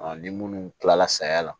ni munnu kilala saya la